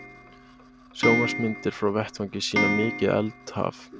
Sjónvarpsmyndir frá vettvangi sýna mikið eldhaf